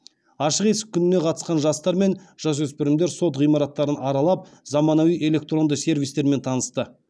ашық есік күніне қатысқан жастар мен жасөспірімдер сот ғимараттарын аралап замануи электронды сервистермен танысты